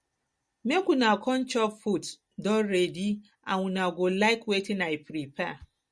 make una come chop food don ready and una go like wetin i prepare